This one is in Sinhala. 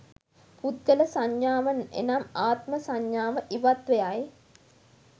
පුද්ගල සංඥාව එනම් ආත්ම සංඥාව ඉවත්ව යයි.